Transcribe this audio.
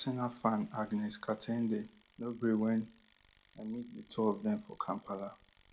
but arsenal fan agness ka ten de no gree wen i meet di two of dem for kampala